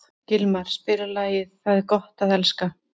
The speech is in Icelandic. Gilmar, spilaðu lagið „Það er gott að elska“.